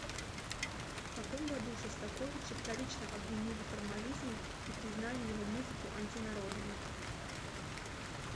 в каком году шостаковича вторично обвинили в формализме и признали его музыку антинародной